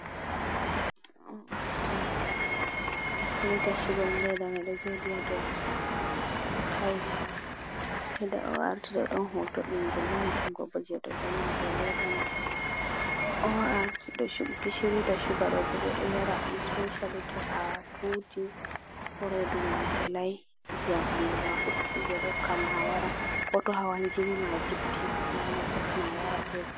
ORT gishiri da Suga'on Ledamai ɗon joɗi ha dou Tayis, leda ORT ɗo hoto ɓingel ɗon Jungobo dou danni dou Leda mai. ORT da su gishiri da Suga ɗo bo ɓe ɗo Yara'on Sipeshali to atuti ko Reduma Velai, ndiyam Ɓanduma usti ,ɓe ɗa hokkama ayara koto hawan Jinima jippi awawan Asofna ayara se va'ita.